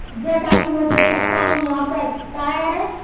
जैसा कि मैं देख सकता हूं यहाँ पर टायर है।